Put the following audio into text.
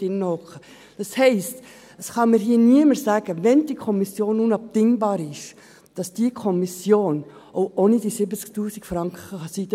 Das heisst: Wenn diese Kommission unabdingbar ist, kann mir niemand sagen, dass diese nicht auch ohne die 70 000 Franken arbeiten kann.